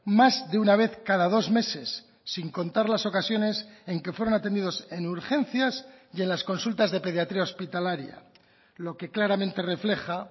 más de una vez cada dos meses sin contar las ocasiones en que fueron atendidos en urgencias y en las consultas de pediatría hospitalaria lo que claramente refleja